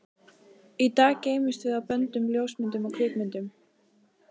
Í dag geymumst við á böndum, ljósmyndum, kvikmyndum.